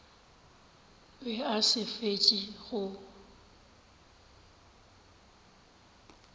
be a sa fetše go